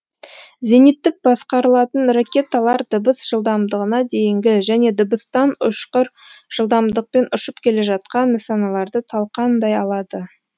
зениттік басқарылатын ракеталар дыбыс жылдамдығына дейінгі және дыбыстан ұшқыр жылдамдықпен ұшып келе жатқан нысаналарды талқандай алады